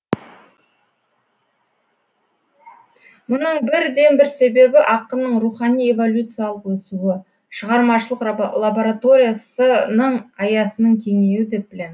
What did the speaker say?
мұның бірден бір себебі ақынның рухани эволюциялық өсуі шығармашылық лабораториясының аясының кеңеюі деп білем